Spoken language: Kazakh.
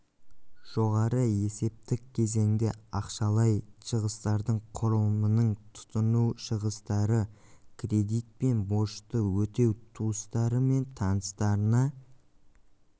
жоғары есептік кезеңде ақшалай шығыстардың құрылымының тұтыну шығыстары кредит пен борышты өтеу туыстары мен таныстарына